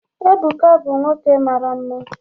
Ebuka bụ nwoke mara nma